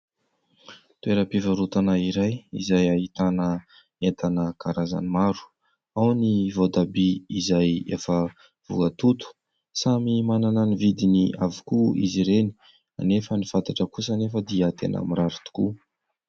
Toeram-pivarotana iray izay ahitana entana karazany maro. Ao ny voatabia izay efa voatoto. Samy manana ny vidiny avokoa izy ireny, nefa ny fantatra kosa nefa dia tena mirary tokoa.